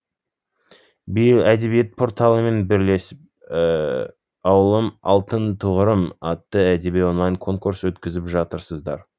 биыл әдебиет порталымен бірлесіп ауылым алтын тұғырым атты әдеби онлайн конкурс өткізіп жатырсыздар